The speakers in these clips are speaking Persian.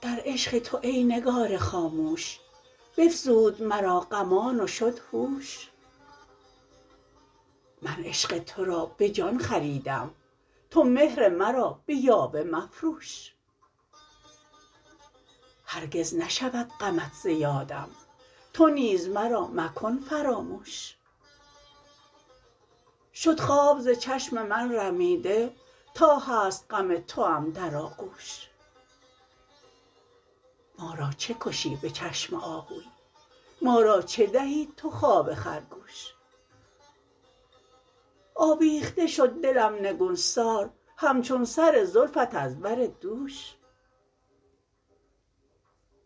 در عشق تو ای نگار خاموش بفزود مرا غمان و شد هوش من عشق ترا به جان خریدم تو مهر مرا به یاوه مفروش هرگز نشود غمت ز یادم تو نیز مرا مکن فراموش شد خواب ز چشم من رمیده تا هست غم توام در آغوش ما را چه کشی به چشم آهوی مار ا چه دهی تو خواب خرگوش آویخته شد دلم نگون سار همچون سر زلفت از بر دوش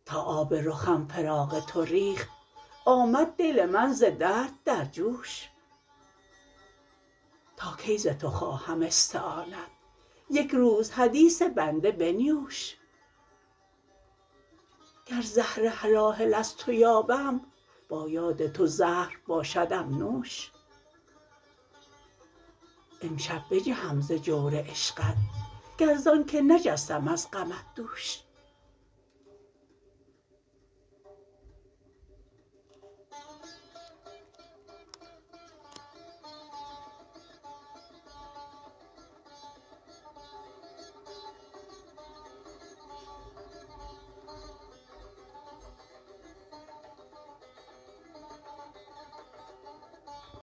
تا آب رخم فراق تو ریخت آمد دل من ز درد در جوش تا کی ز تو خواهم استعانت یک روز حدیث بنده بنیوش گر زهر هلاهل از تو یابم با یاد تو زهر باشدم نوش امشب بجهم ز جور عشقت گر زان که نجستم از غمت دوش